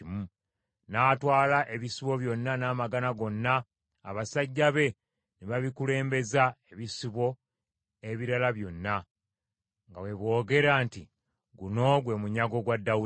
N’atwala ebisibo byonna n’amagana gonna, abasajja be ne babikulembeza ebisolo ebirala byonna, nga bwe boogera nti, “Guno gwe munyago gwa Dawudi.”